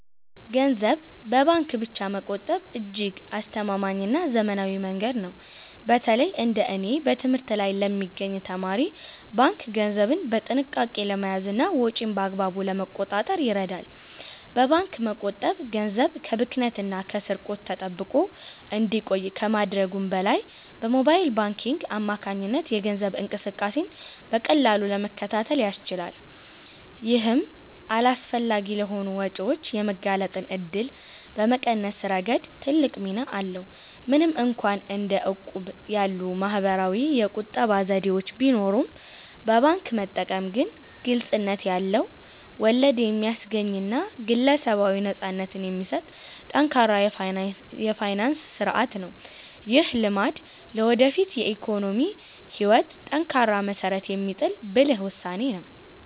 ገንዘብን በባንክ ብቻ መቆጠብ እጅግ አስተማማኝና ዘመናዊ መንገድ ነው። በተለይ እንደ እኔ በትምህርት ላይ ለሚገኝ ተማሪ፣ ባንክ ገንዘብን በጥንቃቄ ለመያዝና ወጪን በአግባቡ ለመቆጣጠር ይረዳል። በባንክ መቆጠብ ገንዘብ ከብክነትና ከስርቆት ተጠብቆ እንዲቆይ ከማድረጉም በላይ፣ በሞባይል ባንኪንግ አማካኝነት የገንዘብ እንቅስቃሴን በቀላሉ ለመከታተል ያስችላል። ይህም አላስፈላጊ ለሆኑ ወጪዎች የመጋለጥ እድልን በመቀነስ ረገድ ትልቅ ሚና አለው። ምንም እንኳን እንደ እቁብ ያሉ ማኅበራዊ የቁጠባ ዘዴዎች ቢኖሩም፣ በባንክ መጠቀም ግን ግልጽነት ያለው፣ ወለድ የሚያስገኝና ግለሰባዊ ነፃነትን የሚሰጥ ጠንካራ የፋይናንስ ሥርዓት ነው። ይህ ልማድ ለወደፊት የኢኮኖሚ ሕይወት ጠንካራ መሠረት የሚጥል ብልህ ውሳኔ ነው።